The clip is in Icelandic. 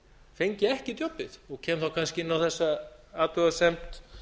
fengi ekki djobbið og kem þá kannski inn á þessa athugasemd